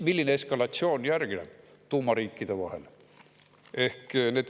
Milline eskalatsioon järgneb tuumariikide vahel?